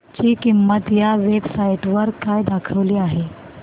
ची किंमत या वेब साइट वर काय दाखवली आहे